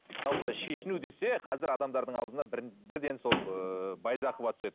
жалпы шешіну десе қазір адамдардың аузына бір бірден сол ыыы байзақова түседі